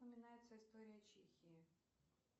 упоминается история чехии